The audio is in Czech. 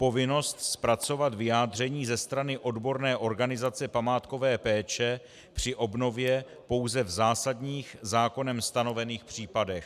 Povinnost zpracovat vyjádření ze strany odborné organizace památkové péče při obnově pouze v zásadních zákonem stanovených případech.